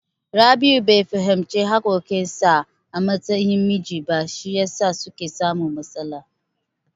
Rabi'u bai fahimci haƙƙoƙin sa a matsayin miji ba, shi yasa suke samun matsala.